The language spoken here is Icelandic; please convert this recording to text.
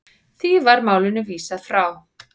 Því var málinu vísað frá.